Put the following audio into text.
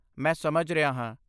ਮੈਂ ਸਮਝ ਰਿਹਾ ਹਾਂ।